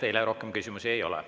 Teile rohkem küsimusi ei ole.